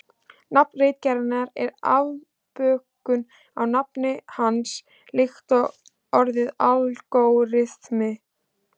Nafn ritgerðarinnar er afbökun á nafni hans líkt og orðið algóritmi.